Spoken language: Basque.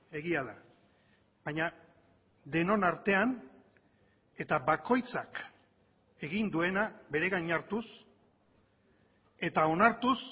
egia da baina denon artean eta bakoitzak egin duena bere gain hartuz eta onartuz